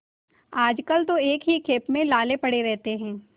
आजकल तो एक ही खेप में लाले पड़े रहते हैं